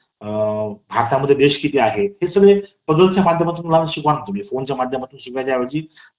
अ.. भारतामध्ये देश किती आहेत , हे सगळे पझ्झल्स चा माध्यमातून शिकवा ना तुम्ही फोन चा माध्यमातून शिकवण्या ऐवजी